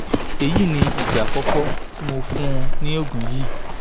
èyí ni ìgbà àkọ́kọ́ tí mo fún un ní oògùn yìí